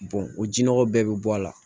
o jinɔgɔw bɛɛ bi bɔ a la